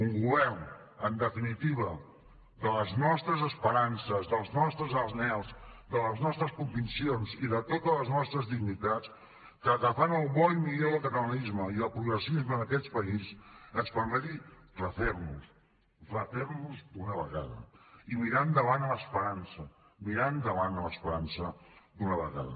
un govern en definitiva de les nostres esperances dels nostres anhels de les nostres conviccions i de totes les nostres dignitats que agafant el bo i millor del catalanisme i el progressisme d’aquest país ens permeti refer nos refer nos d’una vegada i mirar endavant amb esperança mirar endavant amb esperança d’una vegada